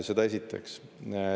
Seda esiteks.